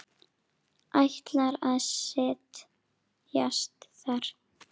Ætlar að set jast þar.